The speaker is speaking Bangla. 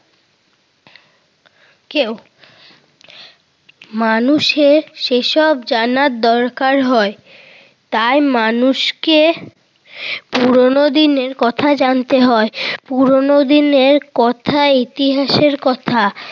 কেউ। মানুষের সেসব জানার দরকার হয়। তাই মানুষকে পুরোনো দিনের কথা জানতে হয়। পুরোনো দিনের কথা ইতিহাসের কথা